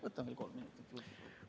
Võtan veel kolm minutit juurde.